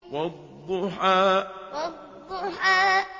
وَالضُّحَىٰ وَالضُّحَىٰ